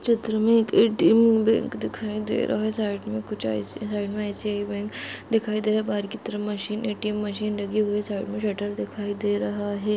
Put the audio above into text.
इस चित्र में दिखाई दे रहा है साइड में आईसीआईसीआई बैंक दिखाई दे रहा है बाहर की तरफ ए_टी_एम मशीन सटर दिखाई दे रहा है।